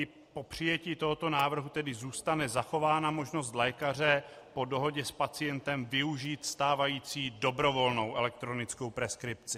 I po přijetí tohoto návrhu tedy zůstane zachována možnost lékaře po dohodě s pacientem využít stávající dobrovolnou elektronickou preskripci.